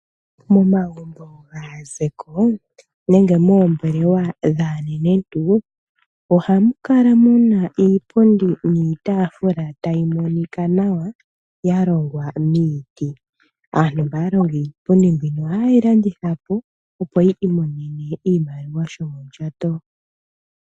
Momagumbo gaazeko nenge moombelewa dhaanenentu, oha mu kala muna iipundi niitafula tayi monika nawa ya longwa miiti. Aantu mba ya longa iipundi mbiya oha ye yi landitha po, opo yi imonene oshimaliwa shomondjato.